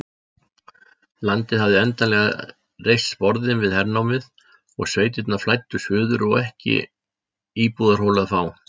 Landið hafði endanlega reist sporðinn við hernámið, sveitirnar flæddu suður og ekki íbúðarholu að fá.